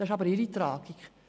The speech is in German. Das ist ihre Tragik.